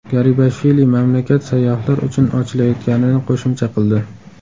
Garibashvili mamlakat sayyohlar uchun ochilayotganini qo‘shimcha qildi.